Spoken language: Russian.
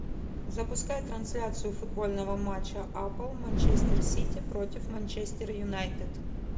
запускай трансляцию футбольного матча апл манчестер сити против манчестер юнайтед